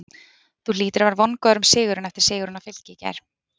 Þú hlýtur að vera vongóður um sigur eftir sigurinn á Fylki í gær?